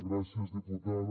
gràcies diputada